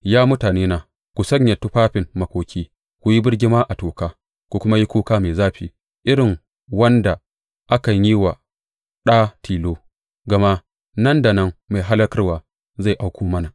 Ya mutanena, ku sanya tufafin makoki ku yi birgima a toka; ku yi kuka mai zafi irin wanda akan yi wa ɗa tilo, gama nan da nan mai hallakarwa zai auko mana.